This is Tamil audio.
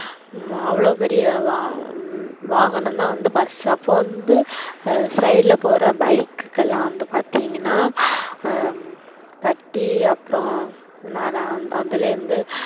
உம் அவளோ பெரிய வாகனம் தான் வந்து bus அப்போ வந்து side ல போற bike குக்கெல்லாம் வந்து பார்த்திங்கனா அஹ் தட்டி அப்புறோ அதுலேருந்து,